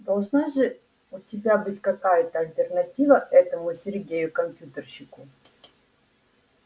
должна же у тебя быть какая-то альтернатива этому сергею компьютерщику